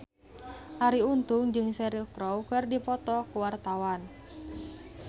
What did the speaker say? Arie Untung jeung Cheryl Crow keur dipoto ku wartawan